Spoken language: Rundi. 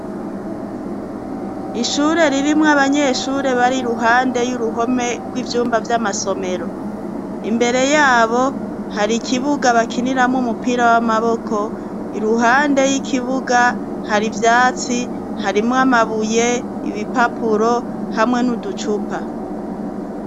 Ishure ririmwo abanyeshure bari ruhande y'uruhome rw'ibyumba by'amasomero imbere yabo hari ikibuga bakiniramo umupira w'amaboko iruhande y'ikibuga hari ibyatsi harimo amabuye ibipapuro hamwe n'uducupa.